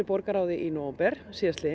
borgarráði í nóvember